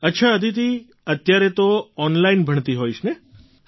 અચ્છા અદિતિ અત્યારે તો ઑનલાઇન ભણતી હોઈશ ને